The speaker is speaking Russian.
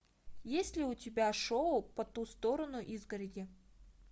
есть ли у тебя шоу по ту сторону изгороди